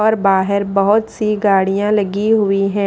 और बाहर बहुत सी गाड़ियां लगी हुई हैं।